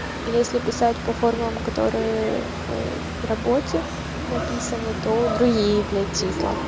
если писать по формулам которые в ээ работе написано это другие блять числа